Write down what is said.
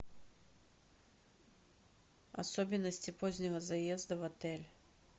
особенности позднего заезда в отель